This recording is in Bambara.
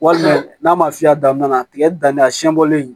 Walima n'a ma fiyɛ a daminɛna tigɛ danni a siɲɛ bɔlen